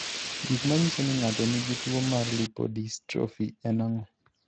Gik manyiso ni ng'ato nigi tuwo mar lipodystrophy en ang'o?